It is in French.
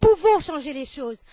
Nous pouvons changer les choses.